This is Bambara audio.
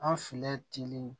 An filɛ